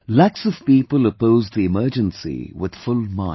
Lakhs of people opposed the emergency with full might